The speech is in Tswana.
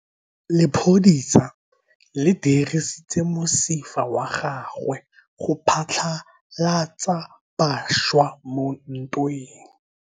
Lepodisa le dirisitse mosifa wa gagwe go phatlalatsa batšha mo ntweng.